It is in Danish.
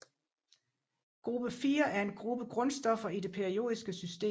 Gruppe 4 er en gruppe grundstoffer i det periodiske system